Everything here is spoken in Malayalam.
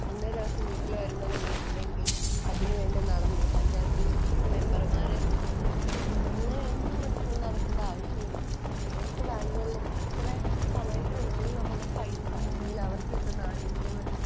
അന്നേ ദിവസം വീട്ടില്‍ വരുമ്പോള്‍ നമ്മള്‍ ഇല്ലെങ്കില്‍, അതിനു വേണ്ടി നടന്ന് പഞ്ചായത്ത് മെമ്പര്‍മാരെയും സഹായത്തിനു. അങ്ങനെ ഒന്നും ഇപ്പോള്‍ നടക്കേണ്ട ആവശ്യമില്ല. നേരിട്ട് ബാങ്കുകളിലേക്ക് ഇത്ര സമയത്തിനുള്ളില്‍ നമ്മുടെ പൈസ അല്ലെങ്കില്‍ അവര്‍ക്ക് കിട്ടുന്ന ആനുകൂല്യങ്ങള്‍